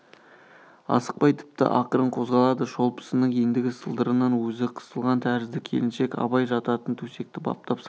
асықпай тіпті ақырын қозғалады шолпысының ендігі сылдырынан өзі қысылған тәрізді келіншек абай жататын төсекті баптап салып